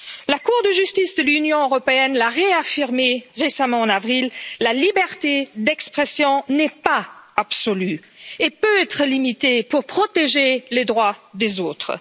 La Cour de justice de l'Union européenne l'a réaffirmé récemment, en avril la liberté d'expression n'est pas absolue et peut être limitée pour protéger les droits des autres.